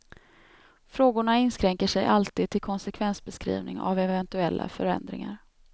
Frågorna inskränker sig alltid till konsekvensbeskrivning av eventuella förändringar.